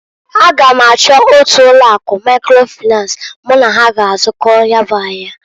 A ga m achọ otu ụlọ akụ Maikro Finans mụ na ha g'azụkọ ya bụ ahịa.